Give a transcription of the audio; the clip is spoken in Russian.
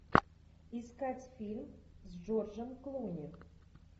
искать фильм с джорджем клуни